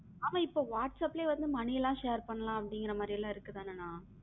ஆனா இப்போ whatsappல யே money லம் share பண்ணலாம் அப்படிங்கற மாதிரி எல்லாம் இருக்குதுல்ல அண்ணா,